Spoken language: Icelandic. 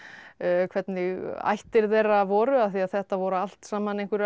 hvernig ættir þeirra voru þetta voru allt sama einhverjar